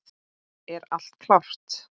Er allt klárt?